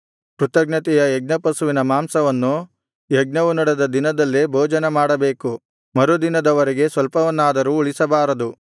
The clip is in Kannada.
ಕೃತಜ್ಞತೆಯ ಯಜ್ಞಪಶುವಿನ ಮಾಂಸವನ್ನು ಯಜ್ಞವು ನಡೆದ ದಿನದಲ್ಲೇ ಭೋಜನ ಮಾಡಬೇಕು ಮರುದಿನದ ವರೆಗೆ ಸ್ವಲ್ಪವನ್ನಾದರೂ ಉಳಿಸಬಾರದು